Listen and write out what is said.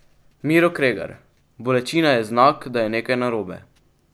Miro Kregar: "Bolečina je znak, da je nekaj narobe.